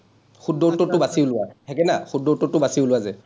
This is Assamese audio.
শুদ্ধ উত্তৰটো বাছি উলিওৱা, থাকে না, শুদ্ধ উত্তৰটো বাছি উলিওৱা যে,